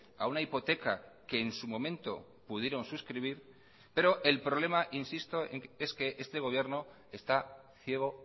a una hipoteca que en su momento pudieron suscribir pero el problema insisto es que este gobierno está ciego